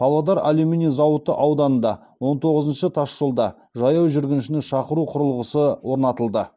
павлодар алюминий зауыты ауданында он тоғызыншы тасжолда жаяу жүргіншіні шақыру құрылғысы орнатылды